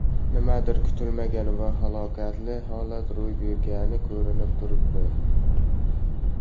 Nimadir kutilmagan va halokatli holat ro‘y bergani ko‘rinib turibdi.